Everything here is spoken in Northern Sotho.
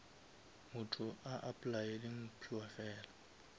motho a applyele mphiwafela